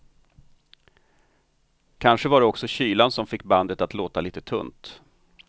Kanske var det också kylan som fick bandet att låta lite tunt.